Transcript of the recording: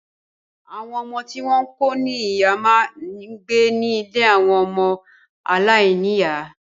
Àwọn ọmọ tí wọn kò ní ìyá máa ń gbé ní ilé àwọn ọmọ aláìníìyá.